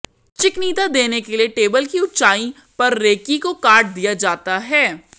चिकनीता देने के लिए टेबल की ऊंचाई पर रेकी को काट दिया जाता है